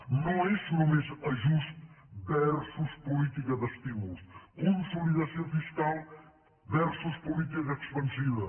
no és només ajust versus política d’estímuls consolidació fiscal versus política expansiva